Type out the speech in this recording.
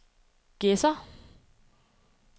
Gedser